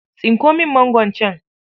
Tsinko min mangon can.